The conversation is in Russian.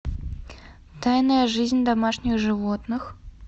тайная жизнь домашних животных